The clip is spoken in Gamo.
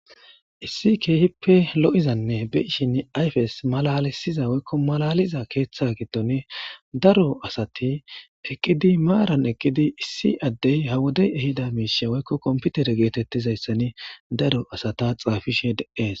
Issi keehippe lo7izanne beishin ayfes malalisiza woykko malaliza keeththa gidtoni daro asati eqqidi maaran eqqidi issi addey ha wodey ehida miishe woykko komputere geetettizayssani daro asata xaafishe deees.